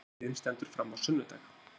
Hátíðin stendur fram á sunnudag